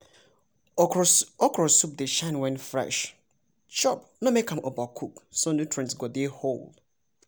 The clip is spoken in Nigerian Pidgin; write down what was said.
okro soup dey shine when fresh chop no make am overcook so nutrients go dey whole.